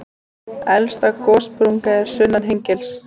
Elsta gossprungan er sunnan Hengils.